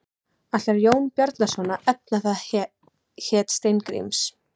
Ætlar Jón Bjarnason að efna það heit Steingríms?